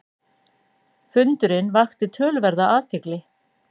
Fundurinn vakti töluverða athygli.